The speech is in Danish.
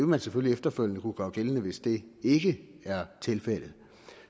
man selvfølgelig efterfølgende kunne gøre gældende hvis det ikke er tilfældet